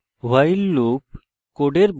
while loop কোডের block execute করে